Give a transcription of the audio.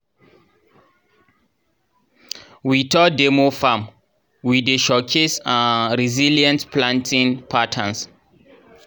we tour demo farm wey dey showcase um resilient planting patterns